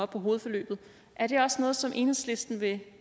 på hovedforløbet er det også noget som enhedslisten vil